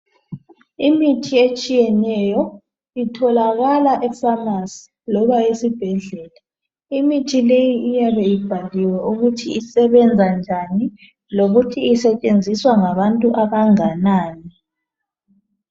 Imithi etshiyeneyo itholakala efamasi loba esibhedlela, imithi leyi iyabe ibhaliwe ukuthi isebenza njani lokuthi isetshenziswa ngabantu abanganani.